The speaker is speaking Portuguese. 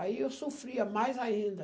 Aí eu sofria mais ainda.